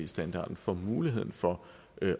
standarden får muligheden for